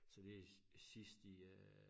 Så det sidst i øh